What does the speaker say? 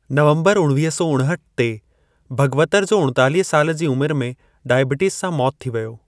नवंबर उणवीह सौ उणहठि ते भगवतर जो उणतालीह साल जी उमिरि में डाइबिटिज़ सां मौति थी वियो।